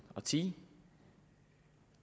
og ti